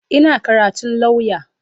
Ina karatun lauya.